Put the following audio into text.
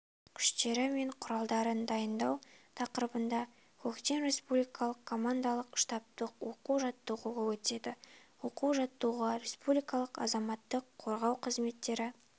күштері мен құралдарын дайындау тақырыбындағы көктем республикалық командалық-штабтық оқу-жаттығуы өтеді оқу-жаттығуға республикалық азаматтық қорғау қызметтері